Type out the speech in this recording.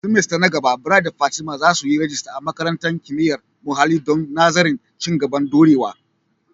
semester na gaba, Bright da Fatima za su yi rajista a Makarantar Kimiyyar Muhalli don nazarin Ci gaban Dorewa.